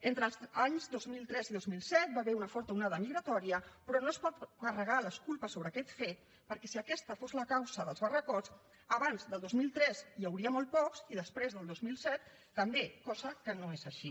entre els anys dos mil tres i dos mil set hi va haver una forta onada migratòria però no es pot carregar les culpes sobre aquest fet perquè si aquesta fos la causa dels barracons abans del dos mil tres n’hi hauria molt pocs i després del dos mil set també cosa que no és així